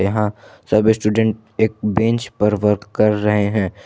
यहां सभी स्टूडेंट एक बेंच पर वर्क कर रहे हैं।